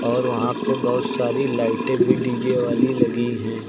और वहां पे बहोत सारी लाइटें भी डी_जे वाली लगी है।